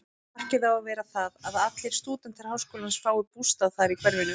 Markið á að vera það, að allir stúdentar háskólans fái bústað þar í hverfinu.